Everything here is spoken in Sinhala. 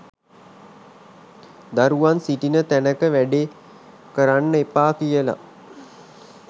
දරුවන් සිටින තැනක වැඩේ කරන්න එපා කියල.